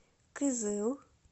кызыл